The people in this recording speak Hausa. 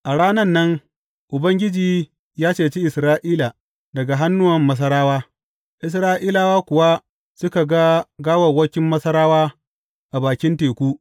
A rana nan Ubangiji ya cece Isra’ila daga hannuwan Masarawa, Isra’ilawa kuwa suka ga gawawwakin Masarawa a bakin teku.